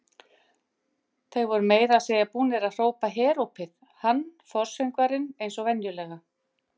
Þeir voru meira að segja búnir að hrópa herópið, hann forsöngvarinn eins og venjulega.